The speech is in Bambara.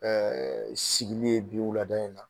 Ɛɛ sigili ye bi wulada in na.